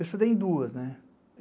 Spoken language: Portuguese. Eu estudei em duas, né?